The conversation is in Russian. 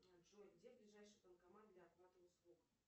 джой где ближайший банкомат для оплаты услуг